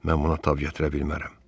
Mən buna tab gətirə bilmərəm.